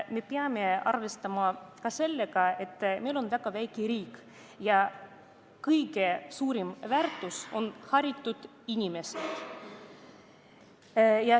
Me peame arvestama ka sellega, et meil on väga väike riik ja kõige suurem väärtus on haritud inimesed.